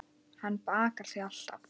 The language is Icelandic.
Hann bakar þig alltaf.